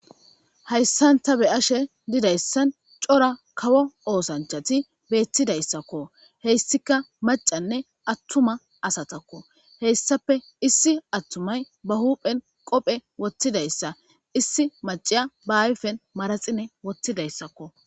Hayssan ta be7ashe dizayssan cora kawo oosanchchati beeththidayssako. Hessikka maccanne attuma asatakko. Hessape issi atumay ba huuphen qophphe woththidayssa issi macciya ba ayfen manaxire woththidayssako.